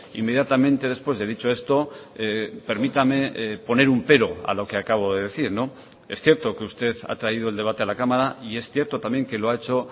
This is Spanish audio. inmediatamente después de dicho esto permítame poner un pero a lo que acabo de decir es cierto que usted ha traído el debate a la cámara y es cierto también que lo ha hecho